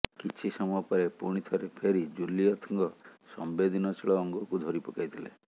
କିଛି ସମୟ ପରେ ପୁଣି ଥରେ ଫେରି ଜୁଲିଏଥ୍ଙ୍କ ସମ୍ବେଦନଶୀଳ ଅଙ୍ଗକୁ ଧରି ପକାଇଥିଲେ